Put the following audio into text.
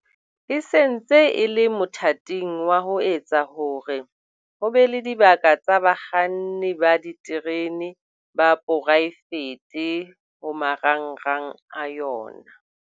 E se ntse e le mothating wa ho etsa hore ho be le dibaka tsa bakganni ba diterene ba poraefete ho marangrang a yona.